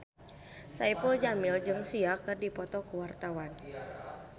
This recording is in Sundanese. Saipul Jamil jeung Sia keur dipoto ku wartawan